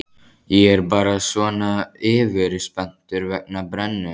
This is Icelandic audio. Ég er bara svona yfirspenntur vegna brennunnar.